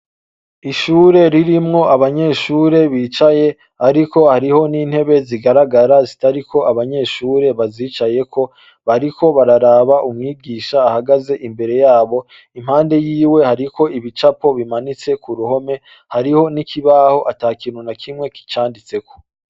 Ishure ririmwo abanyeshure bicaye ariko hariyo n'intebe zigaragara zitariko abanyeshure bazicayeko. Bariko bararaba umwigisha ahagaze imbere yabo. Impande yiwe hariko ibicapo bimanitse ku ruhome, hariho n'ikibaho ata kintu na kimwe kicanditseko.